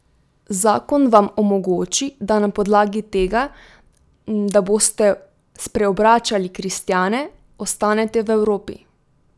Zakon vam omogoči, da na podlagi tega, da boste spreobračali kristjane, ostanete v Evropi.